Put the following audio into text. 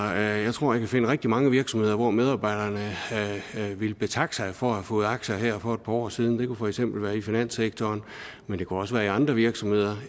jeg tror jeg finde rigtig mange virksomheder hvor medarbejderne ville betakke sig for at have fået aktier her for et par år siden det kunne for eksempel være i finanssektoren men det kunne også være i andre virksomheder